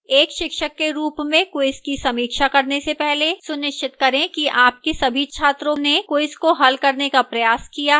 एक शिक्षक के रूप में quiz की समीक्षा करने से पहले सुनिश्चित करें कि आपके सभी छात्रों ने quiz को हल करने का प्रयास किया है